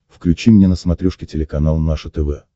включи мне на смотрешке телеканал наше тв